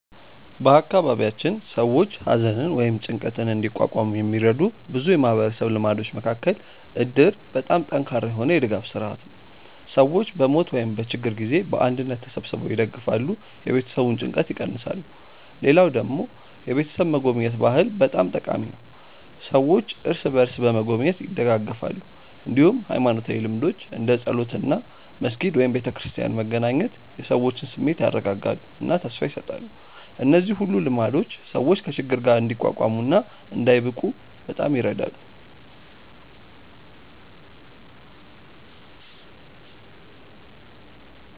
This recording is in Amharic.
በአካባቢያችን ሰዎች ሐዘንን ወይም ጭንቀትን እንዲቋቋሙ የሚረዱ ብዙ የማህበረሰብ ልማዶች መካከል እድር በጣም ጠንካራ የሆነ የድጋፍ ስርዓት ነው፤ ሰዎች በሞት ወይም በችግር ጊዜ በአንድነት ተሰብስበው ይደግፋሉ፣ የቤተሰቡን ጭንቀት ይቀንሳሉ። ሌላ ደግሞ የቤተሰብ መጎብኘት ባህል በጣም ጠቃሚ ነው፤ ሰዎች እርስ በርስ በመጎብኘት ይደጋገፋሉ። እንዲሁም ሃይማኖታዊ ልምዶች እንደ ጸሎት እና መስጊድ/ቤተክርስቲያን መገናኘት የሰዎችን ስሜት ያረጋጋሉ እና ተስፋ ይሰጣሉ። እነዚህ ሁሉ ልማዶች ሰዎች ከችግር ጋር እንዲቋቋሙ እና እንዳይብቁ በጣም ይረዳሉ።